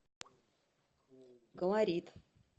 колорит